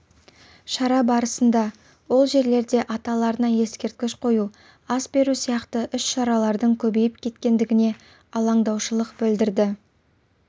шара барысында ол жержерде аталарына ескерткіш қою ас беру сияқты іс-шаралардың көбейіп кеткендігіне алаңдаушылық білдірді